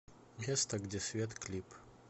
место где свет клип